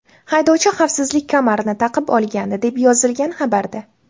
Haydovchi xavfsizlik kamarini taqib olgandi, deb yozilgan xabarda.